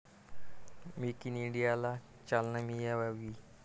Make in इंडियाला चालना मिळावी.